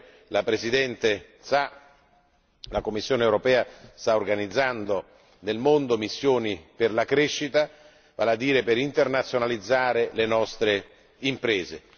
Come la Presidente sa, la Commissione europea sta organizzando nel mondo missioni per la crescita, vale a dire per internazionalizzare le nostre imprese.